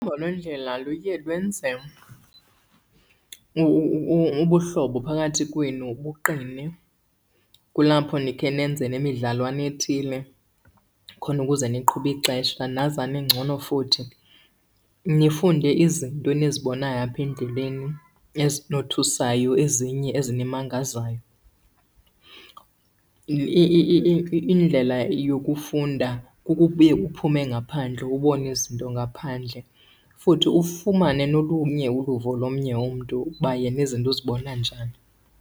Uhambo lwendlela luye lwenze ubuhlobo phakathi kwenu buqine. Kulapho nikhe nenze nemidlalwana ethile khona ukuze niqhube ixesha nazane ngcono futhi, nifunde izinto enizibonayo apha endleleni ezinothusayo ezinye ezinimangazayo. Indlela yokufunda kukubuye uphume ngaphandle ubone izinto ngaphandle futhi ufumane nolunye uluvo lomnye umntu uba yena izinto uzibona njani.